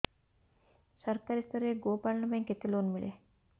ସରକାରୀ ସ୍ତରରେ ଗୋ ପାଳନ ପାଇଁ କେତେ ଲୋନ୍ ମିଳେ